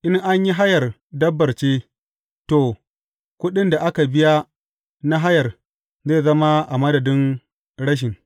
In an yi hayar dabbar ce, to, kuɗin da aka biya na hayar zai zama a madadin rashin.